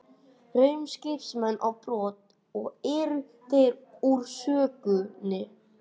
Reru skipsmenn á brott, og eru þeir úr sögunni.